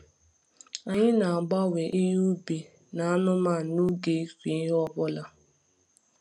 Anyị na-agbanwe ihe ubi na anụmanụ n’oge ịkụ ihe ọ bụla.